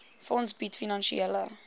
fonds bied finansiële